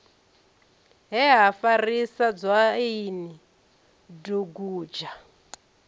he ha farisa dzwaini dugudzha